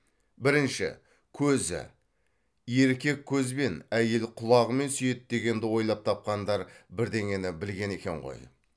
бірінші көзі еркек көзбен әйел құлағымен сүйеді дегенді ойлап тапқандар бірдеңені білген екен ғой